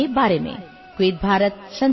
মোৰ প্ৰিয় দেশবাসী